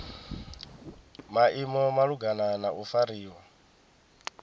maimo malugana na u fariwa